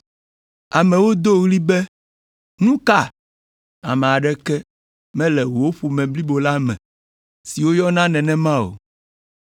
Amewo do ɣli be, “Nu ka? Ame aɖeke mele wò ƒome blibo la me si woyɔna nenema o.”